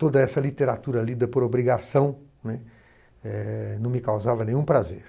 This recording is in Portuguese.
Toda essa literatura lida por obrigação, né, não me causava nenhum prazer.